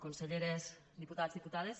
conselleres diputats diputades